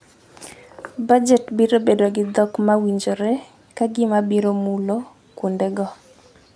Bajet biro bedo gi dhok ma winjore ka gima biro mulo kuondego.